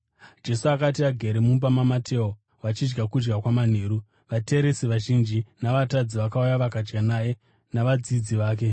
Jesu akati agere mumba maMateo vachidya kudya kwamanheru, vateresi vazhinji navatadzi vakauya vakadya naye navadzidzi vake.